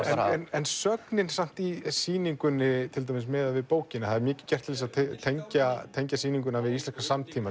en sögnin samt í sýningunni til dæmis miðað við bókina það er mikið gert til að tengja tengja sýninguna við íslenskan samtíma